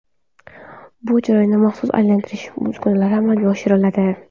Bu jarayon maxsus aylantirish uskunalarida amalga oshiriladi.